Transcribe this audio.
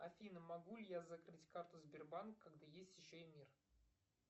афина могу ли я закрыть карту сбербанка когда есть еще и мир